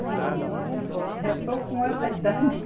E já estou com essa idade.